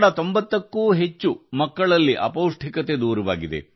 90ಕ್ಕೂ ಹೆಚ್ಚು ಮಕ್ಕಳಲ್ಲಿ ಅಪೌಷ್ಟಿಕತೆ ನಿವಾರಣೆಯಾಗಿದೆ